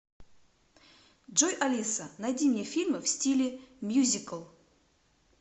джой алиса найди мне фильмы в стиле мьюзикл